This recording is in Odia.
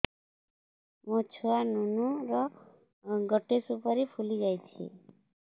ମୋ ଛୁଆ ନୁନୁ ର ଗଟେ ସୁପାରୀ ଫୁଲି ଯାଇଛି